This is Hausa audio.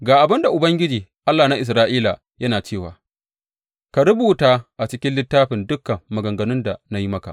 Ga abin da Ubangiji, Allah na Isra’ila, yana cewa, Ka rubuta a cikin littafi dukan maganganun da na yi maka.